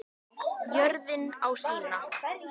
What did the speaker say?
Jörðin á sína.